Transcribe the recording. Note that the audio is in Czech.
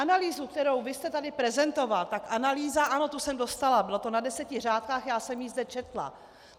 Analýzu, kterou vy jste tady prezentoval, tak analýza, ano, tu jsem dostala, bylo to na deseti řádkách, já jsem ji zde četla.